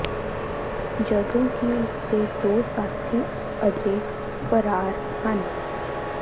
ਜਦੋਂ ਕਿ ਉਸ ਦੇ ਦੋ ਸਾਥੀ ਅਜੇ ਫਰਾਰ ਹਨ